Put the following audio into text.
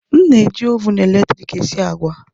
M na-eji Ovụn eletrik sie agwa